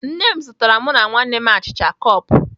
Nne m zụtara mụ na ụmụnne m achịcha cup